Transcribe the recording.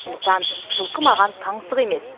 сондықтан жылқы маған таңсық емес